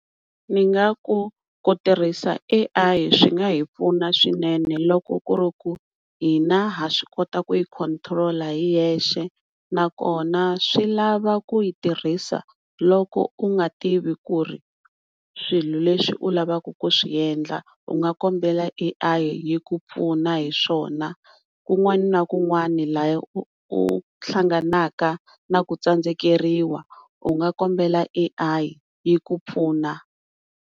Ni nga ku kutirhisa A_I swi nga hi pfuna swinene loko ku ri ku hina ha swi kota ku yi control hi hexe, nakona swi lava ku yi tirhisa loko u nga tivi ku ri swilo leswi u lavaka ku swiendla u nga kombela A_I yi ku pfuna hiswona, kun'wana na kun'wana laha u hlangana na ku tsandzekeriwa u nga kombela Al yi ku pfuna.